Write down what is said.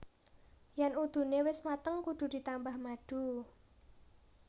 Yén udune wis mateng kudu ditambah madu